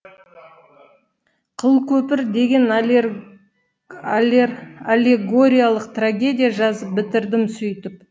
қылкөпір деген аллегориялық трагедия жазып бітірдім сөйтіп